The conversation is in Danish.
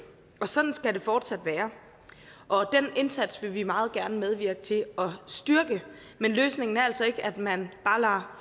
og sådan skal det fortsat være og den indsats vil vi meget gerne medvirke til at styrke men løsningen er altså ikke at man bare